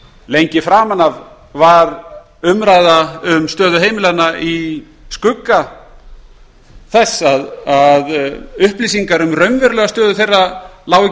lengi framan af var umræða um stöðu heimilanna í skugga þess að upplýsingar um raunverulega stöðu þeirra lágu ekki